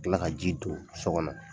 kila ka ji don so kɔnɔ.